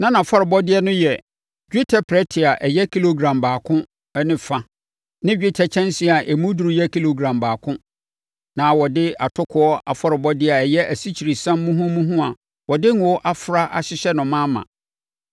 Na nʼafɔrebɔdeɛ no yɛ: dwetɛ prɛte a ɛyɛ kilogram baako ne fa ne dwetɛ kyɛnsee a emu duru yɛ kilogram baako. Na wɔde atokoɔ afɔrebɔdeɛ a ɛyɛ asikyiresiam muhumuhu a wɔde ngo afra ahyehyɛ no ma ma.